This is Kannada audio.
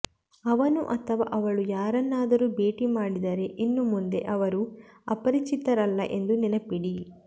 ಅವನು ಅಥವಾ ಅವಳು ಯಾರನ್ನಾದರೂ ಭೇಟಿ ಮಾಡಿದರೆ ಇನ್ನು ಮುಂದೆ ಅವರು ಅಪರಿಚಿತರಲ್ಲ ಎಂದು ನೆನಪಿಡಿ